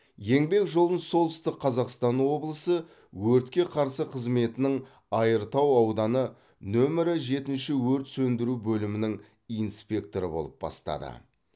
еңбек жолын солтүстік қазақстан облысы өртке қарсы қызметінің айыртау ауданы нөмірі жетінші өрт сөндіру бөлімінің инспекторы болып бастады